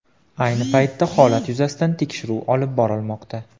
Ayni paytda holat yuzasidan tekshiruv olib borilmoqda.